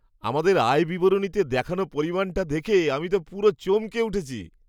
আমাদের আয় বিবরণীতে দেখানো পরিমাণটা দেখে আমি তো পুরো চমকে উঠেছি!